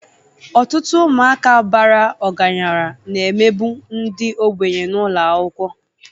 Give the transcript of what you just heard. Ọtụtụ ụmụaka bara ọgaranya na-emegbu ndị ogbenye n'ụlọ akwụkwọ